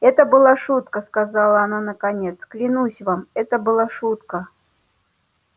это была шутка сказала она наконец клянусь вам это была шутка